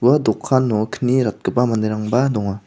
ua dokano kni ratgipa manderangba donga.